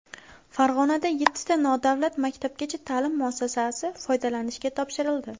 Farg‘onada yettita nodavlat maktabgacha ta’lim muassasasi foydalanishga topshirildi.